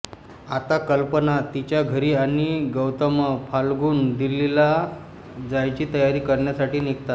आता कल्पना तिच्या घरी आणि गौतमफाल्गुन दिल्लीला जायची तयारी कारण्यासाठी निघतात